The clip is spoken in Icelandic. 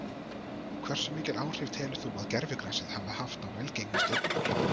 Hversu mikil áhrif telur þú að gervigrasið hafi haft á velgengni Stjörnunnar?